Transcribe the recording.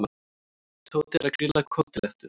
Tóti er að grilla kótilettur.